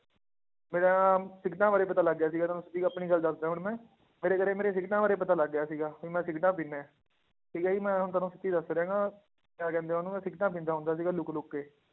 ਮੇਰਾ ਨਾ ਸਿਗਰਟਾਂ ਬਾਰੇ ਪਤਾ ਲੱਗ ਗਿਆ ਸੀ ਤੁਹਾਨੂੰ ਸਿੱਧੀ ਗ~ ਆਪਣੀ ਗੱਲ ਦੱਸਦਾਂ ਹੁਣ ਮੈਂ ਮੇਰੇ ਘਰੇ ਮੇਰੇ ਸਿਗਰਟਾਂ ਬਾਰੇ ਪਤਾ ਲੱਗ ਗਿਆ ਸੀਗਾ ਵੀ ਮੈਂ ਸਿਗਰਟਾਂ ਪੀਂਦਾ ਹੈ, ਠੀਕ ਹੈ ਜੀ ਮੈਂ ਹੁਣ ਤੁਹਾਨੂੰ ਸੱਚ ਦੱਸ ਰਿਹਾਂ ਗਾ ਕਿਹਾ ਕਹਿੰਦੇ ਆ ਉਹਨੂੰ ਮੈਂ ਸਿਗਰਟਾਂ ਪੀਂਦਾ ਹੁੰਦਾ ਸੀਗਾ ਲੁੱਕ ਲੁੱਕ ਕੇ